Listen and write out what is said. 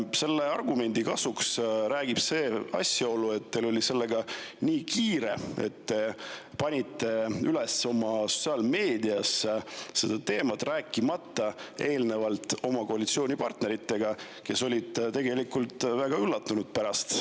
Selle argumendi kasuks räägib see asjaolu, et teil oli sellega nii kiire, et te panite üles selle teema oma sotsiaalmeediasse, rääkimata eelnevalt oma koalitsioonipartneritega, kes olid tegelikult väga üllatunud.